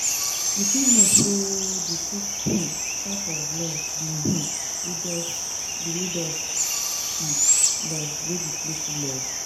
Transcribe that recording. You fit know say di fifth [um]type of love be um ludus love wey be playful love.